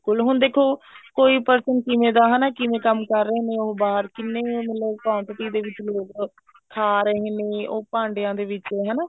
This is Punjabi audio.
but ਹੁਣ ਦੇਖੋ ਕੋਈ person ਕਿਵੇਂ ਦਾ ਹਨਾ ਕਿਵੇਂ ਕੰਮ ਕਰ ਰਹੇ ਨੇ ਉਹ ਬਾਹਰ ਕਿੰਨੇ ਉਹ quantity ਦੇ ਵਿੱਚ ਲੋਕ ਖਾ ਰਹੇ ਨੇ ਉਹ ਭਾਂਡਿਆਂ ਦੇ ਵਿੱਚ ਹਨਾ